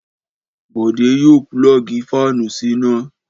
Bọ̀dé yóò pulọ́ọ́gì fáánù síná!